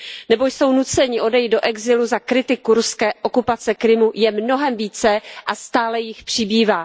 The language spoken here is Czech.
nebo jsou nuceni odejít do exilu za kritiku ruské okupace Krymu, je mnohem více a stále jich přibývá.